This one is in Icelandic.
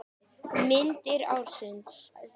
Myndir ársins